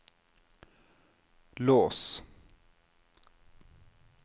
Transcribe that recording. lås